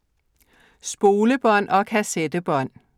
Spolebånd og kassettebånd